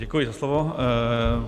Děkuji za slovo.